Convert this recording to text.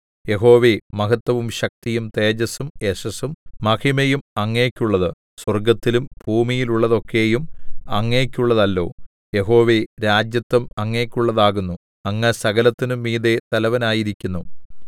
യഹോവേ മഹത്വവും ശക്തിയും തേജസ്സും യശസ്സും മഹിമയും അങ്ങയ്ക്കുള്ളത് സ്വർഗ്ഗത്തിലും ഭൂമിയിലുമുള്ളതൊക്കെയും അങ്ങയ്ക്കുള്ളതല്ലോ യഹോവേ രാജത്വം അങ്ങയ്ക്കുള്ളതാകുന്നു അങ്ങ് സകലത്തിനും മീതെ തലവനായിരിക്കുന്നു